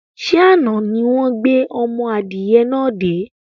Ṣé àna ni wọn gbé ọmọ adìyẹ náà dé?